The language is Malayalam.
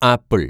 ആപ്പിള്‍